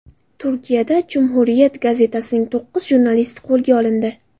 Turkiyada Cumhuriyet gazetasining to‘qqiz jurnalisti qo‘lga olindi.